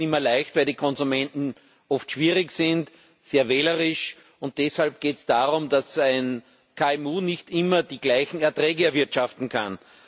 Es ist nicht immer leicht, weil die Konsumenten oft schwierig sind, sehr wählerisch sind, und deshalb geht es darum, dass ein KMU nicht immer die gleichen Erträge erwirtschaften kann.